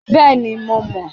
Bẹẹni, Mo mọ